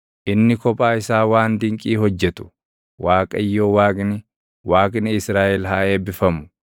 Inni kophaa isaa waan dinqii hojjetu, Waaqayyo Waaqni, Waaqni Israaʼel haa eebbifamu.